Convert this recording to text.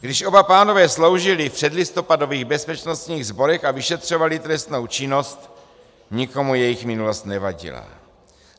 Když oba pánové sloužili v předlistopadových bezpečnostních sborech a vyšetřovali trestnou činnost, nikomu jejich minulost nevadila.